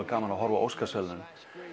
gaman að horfa á Óskarsverðlaunin